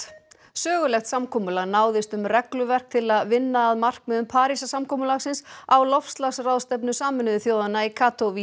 sögulegt samkomulag náðist um regluverk til að vinna að markmiðum Parísarsamkomulagsins á loftslagsráðstefnu Sameinuðu þjóðanna í